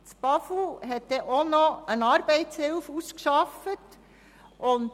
Das Bundesamt für Umwelt (BAFU) hat auch noch eine Arbeitshilfe ausgearbeitet.